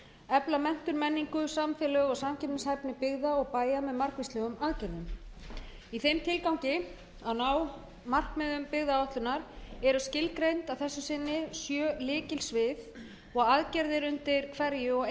efla menntun menningu samfélög og samkeppnishæfni byggða og bæja með margvíslegri atvinnu í þeim tilgangi að ná markmiðum byggðaáætlunar eru skilgreind að þessu sinni sjö lykilsvið og aðgerðir undir hverju og